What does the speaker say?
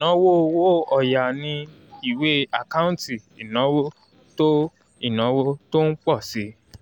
ìnáwó owó ọ̀yà ni ìwé àkáǹtì ìnáwó tó ìnáwó tó ń pọ̀ si